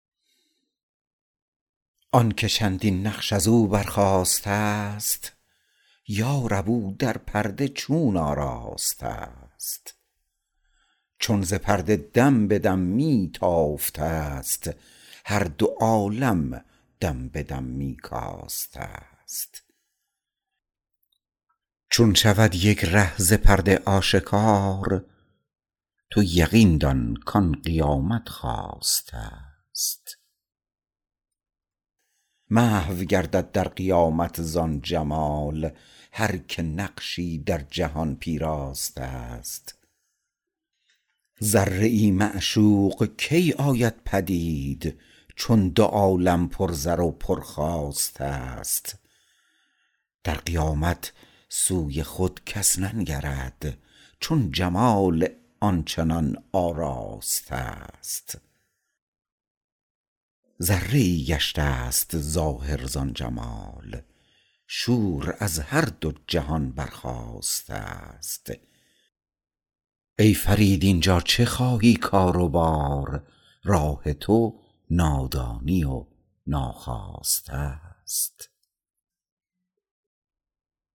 آنکه چندین نقش ازو برخاسته است یارب او در پرده چون آراسته است چون ز پرده دم به دم می تافته است هر دو عالم دم به دم می کاسته است چون شود یک ره ز پرده آشکار تو یقین دان کان قیامت خاسته است محو گردد در قیامت زان جمال هر که نقشی در جهان پیراسته است ذره ای معشوق کی آید پدید چون دو عالم پر زر و پر خواسته است در قیامت سوی خود کس ننگرد چون جمال آن چنان آراسته است ذره ای گشت است ظاهر زان جمال شور از هر دو جهان برخاسته است ای فرید اینجا چه خواهی کار و بار راه تو نادانی و ناخواسته است